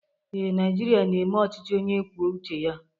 Ee, Naịjirịa na-eme ọchịchị onye kwuo uche ya.